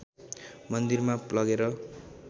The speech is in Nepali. मन्दिरमा लगेर